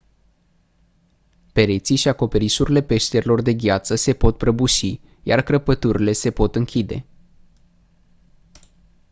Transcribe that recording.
pereții și acoperișurile peșterilor de gheață se pot prăbuși iar crăpăturile se pot închide